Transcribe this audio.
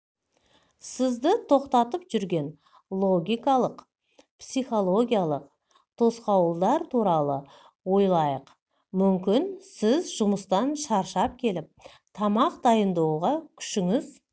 сізді тоқтатып жүрген логикалық психологиялық тосқауылдар туралы ойлайық мүмкін сіз жұмыстан шаршап келіп тамақ дайындауға күшіңіз